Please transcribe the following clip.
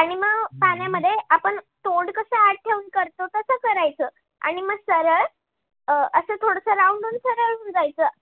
आणि मग पाण्यामध्ये आपण तोंड कस आत ठेऊन करतो तस करायचं आणि म सरळ अस थोडस round होऊन सरळ होऊन जायचं.